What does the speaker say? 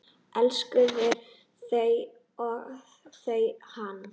Elskaði þau og þau hann.